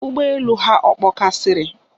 Ụgbọ elu ha ọ kpọkasịrị?